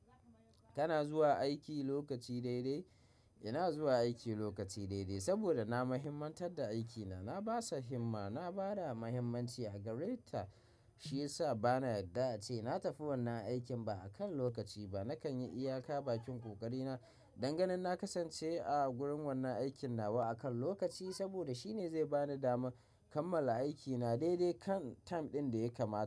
Kana zuwa aiki lokaci daidai? Ina zuwa aiki lokaci daidai saboda na muhimantar da aikina. Na basa himma, na bada muhimmanci a gare ta, shi yasa bana yadda ace na tafi wannan aikin ba a kan lokaci ba. Nakan yi iyaka bakin ƙoƙari na dangani na kasance a gurin wannan aikin nawa a kan lokaci saboda shi ne zai bani dama kammala aikina daidai kan time ɗin da ya kamat.